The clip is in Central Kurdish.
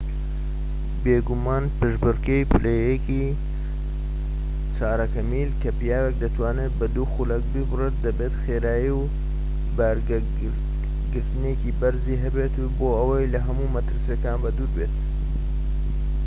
بێگومان پێشبڕكێی پلە یەکی چارەکە میل کە پیاوێك دەتوانێت بە دوو خولەک بیبڕێت دەبێت خێرایی و بەرگەگرتنێکی بەرزی هەبێت بۆ ئەوەی لەهەموو مەترسیەکان بەدوور بێت